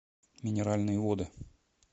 минеральные воды